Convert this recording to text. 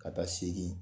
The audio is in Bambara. Ka taa segi